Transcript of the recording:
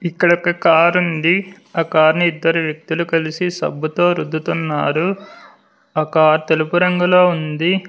ఇక్కడ ఒక కారుంది ఆ కార్ ని ఇద్దరు వ్యక్తులు కలిసి సబ్బుతో రుద్దుతున్నారు ఆ కార్ తెలుపు రంగులొ ఉంది.